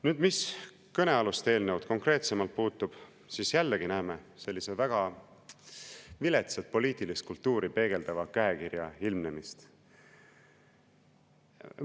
Nüüd mis kõnealust eelnõu konkreetsemalt puutub, siis jällegi näeme sellise väga viletsat poliitilist kultuuri peegeldava käekirja ilmnemist.